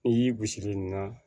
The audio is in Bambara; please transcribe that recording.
N'i y'i gosi nin na